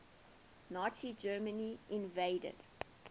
nazi germany invaded